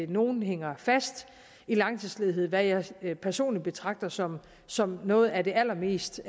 nogle hænger fast i langtidsledighed hvad jeg jeg personlig betragter som som noget af det allermest